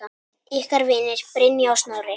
Ykkar vinir, Brynja og Snorri.